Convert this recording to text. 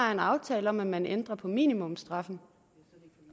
er en aftale om at man ændrer på minimumsstraffen